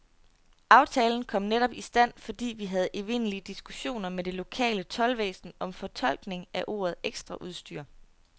Aftalen kom netop i stand, fordi vi havde evindelige diskussioner med det lokale toldvæsen om fortolkning af ordet ekstraudstyr.